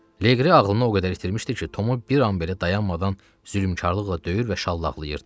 Leqri ağlını o qədər itirmişdi ki, Tomu bir an belə dayanmadan zülmkarlıqla döyür və şallaqlayırdı.